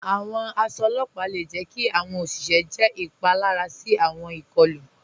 Àwọn àṣọ ọlọ́pà le jẹ̀ kí àwọn oṣìṣẹ jẹ́ ipalara sí àwọn ikọ̀lu.